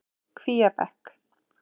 Kvíabekk